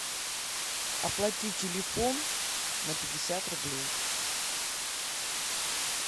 оплати телефон на пятьдесят рублей